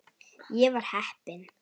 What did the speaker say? Ég var heppin.